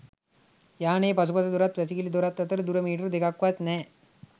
යානයේ පසුපස දොරත් වැසිකිළි දොරත් අතර දුර මීටර දෙකක්වත් නෑ.